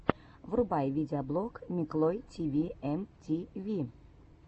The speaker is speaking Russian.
врубай видеоблог миклой тиви эм ти ви